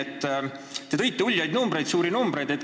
Te nimetasite uljaid, suuri numbreid.